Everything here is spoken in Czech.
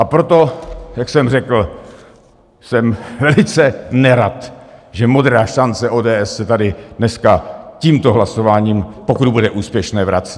A proto, jak jsem řekl, jsem velice nerad, že Modrá šance ODS se tady dneska tímto hlasováním, pokud bude úspěšné, vrací.